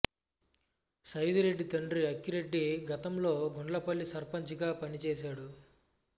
సైదిరెడ్డి తండ్రి అంకిరెడ్డి గతంలో గుండ్లపల్లి సర్పంచ్ గా పనిచేశాడు